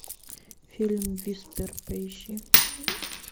фильм виспер поищи